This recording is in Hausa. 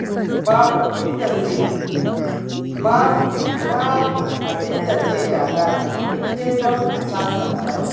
Babu abinda zai gagara in dai don a sasanta ne.